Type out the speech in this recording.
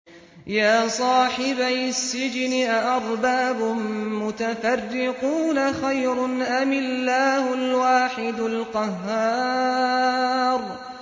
يَا صَاحِبَيِ السِّجْنِ أَأَرْبَابٌ مُّتَفَرِّقُونَ خَيْرٌ أَمِ اللَّهُ الْوَاحِدُ الْقَهَّارُ